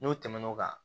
N'o tɛmɛna o kan